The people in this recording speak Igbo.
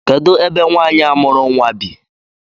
Kedụ ebe nwaanyị a mụrụ nnwa bi?